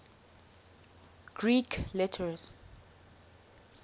greek letters